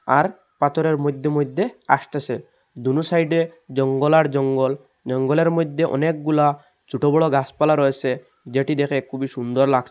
আর পাথরের মইধ্যে মইধ্যে আসতেছে দুনো সাইডে জঙ্গল আর জঙ্গল জঙ্গলের মইধ্যে অনেকগুলা ছোট বড় গাছপালা রয়েছে যেটি দেখে খুবই সুন্দর লাগ--